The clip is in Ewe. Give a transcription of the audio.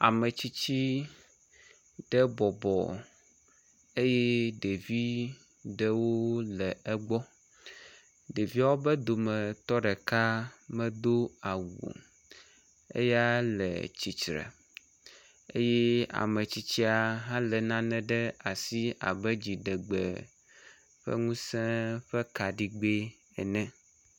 Ametsitsi ɖe bɔbɔ eye ɖevi ɖewo le egbɔ, eye ɖeviwo dometɔ ɖeka medo awu o eya le tsitre eye ametsitsia le nane ɖe asi abe dziɖegbe ƒe ŋusẽ ene